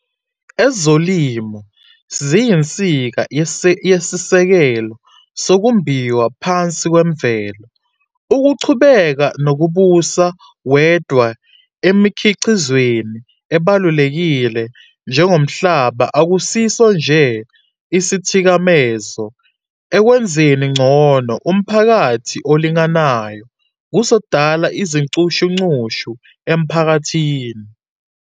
Ezolimo ziyinsika yesisekelo sokumbiwa phansi kwemvelo. Ukuqhubeka nokubusa wedwa emikhiqizweni ebalulekile njengomhlaba akusiso nje isithikamezo ekwenzeni ngcono umphakathi olinganayo, kuzodala inxushunxushu emphakathini.